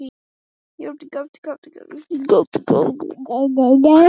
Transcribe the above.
Þú stendur þig vel, Gissur!